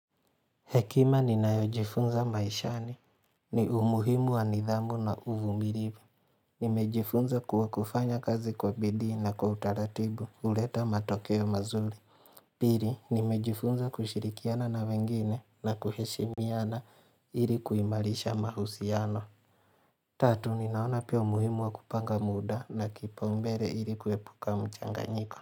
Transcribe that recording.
Hekima ninayojifunza maishani. Ni umuhimu wa nidhamu na uvumiribu. Nimejifunza kuwa kufanya kazi kwa bidii na kwa utaratibu uleta matokeo mazuri. Piri, nimejifunza kushirikiana na wengine na kuheshimiana iri kuimarisha mahusiano. Tatu, ninaona pia umuhimu wa kupanga muda na kipaumbere iri kuepuka mchanganyiko.